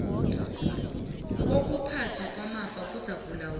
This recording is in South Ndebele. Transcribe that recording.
kokuphathwa kwamafa kuzakulawulwa